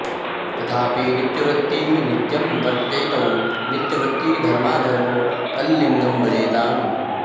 तथापि नित्यवृत्ती नित्यं वर्तेते तौ नित्यवृत्ती धर्माधर्मौ तल्लिङ्गं भजेताम्